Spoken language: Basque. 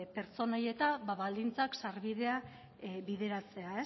pertsona horiek baldintzak sarbideak bideratzea